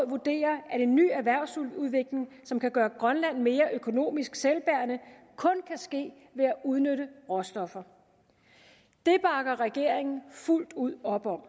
vurderer at en ny erhvervsudvikling som kan gøre grønland mere økonomisk selvbærende kun kan ske ved at udnytte råstoffer det bakker regeringen fuldt ud op om og